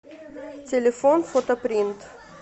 телефон фотопринт